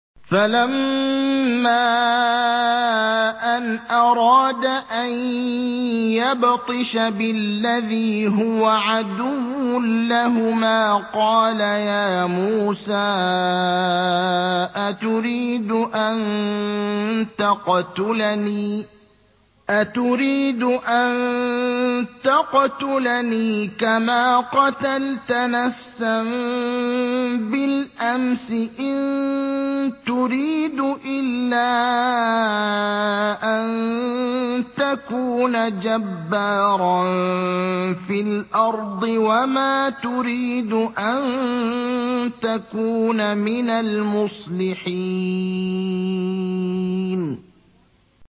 فَلَمَّا أَنْ أَرَادَ أَن يَبْطِشَ بِالَّذِي هُوَ عَدُوٌّ لَّهُمَا قَالَ يَا مُوسَىٰ أَتُرِيدُ أَن تَقْتُلَنِي كَمَا قَتَلْتَ نَفْسًا بِالْأَمْسِ ۖ إِن تُرِيدُ إِلَّا أَن تَكُونَ جَبَّارًا فِي الْأَرْضِ وَمَا تُرِيدُ أَن تَكُونَ مِنَ الْمُصْلِحِينَ